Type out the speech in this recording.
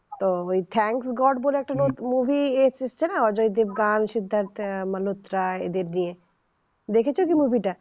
ও thank god বলে একটা movie এসেছে না অজয় দেবগন সিদ্ধার্থ মানস রায় এদের দিয়ে দেখেছেন movie টা